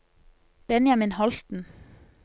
Benjamin Holten